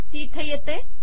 ती येथे येते